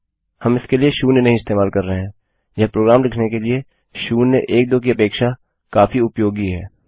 हम इसके लिए शून्य नहीं इस्तेमाल कर रहे हैंयह काफी उपयोगी है प्रोग्राम करने के लिए नाकि शून्य एक दो कहने के लिए